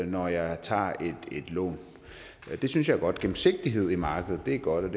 når jeg tager et lån det synes jeg er godt gennemsigtighed i markedet er godt